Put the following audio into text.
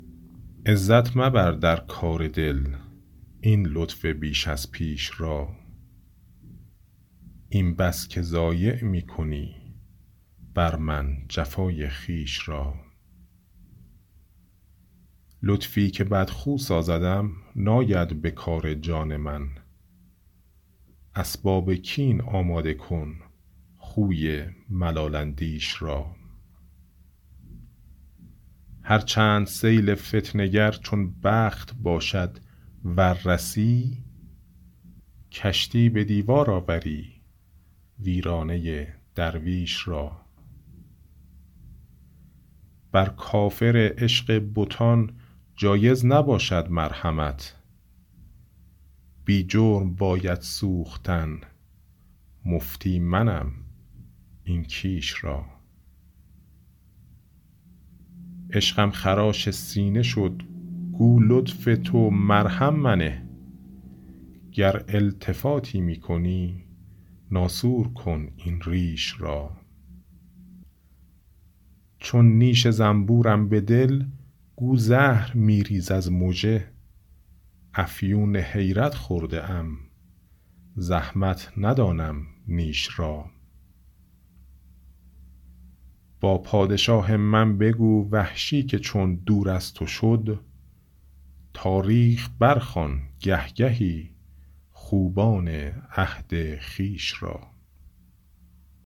عزت مبردر کار دل این لطف بیش از پیش را این بس که ضایع می کنی برمن جفای خویش را لطفی که بد خو سازدم ناید به کار جان من اسباب کین آماده کن خوی ملال اندیش را هر چند سیل فتنه گر چون بخت باشد ور رسی کشتی به دیوار آوری ویرانه درویش را بر کافر عشق بتان جایز نباشد مرحمت بی جرم باید سوختن مفتی منم این کیش را عشقم خراش سینه شد گو لطف تو مرهم منه گر التفاتی می کنی ناسور کن این ریش را چون نیش زنبورم به دل گو زهر می ریز از مژه افیون حیرت خورده ام زحمت ندانم نیش را با پادشاه من بگو وحشی که چون دور از تو شد تاریخ برخوان گه گهی خوبان عهد خویش را